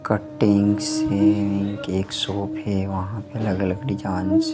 cuttings है एक shop है वहां पे अलग अलग डिजाइंस --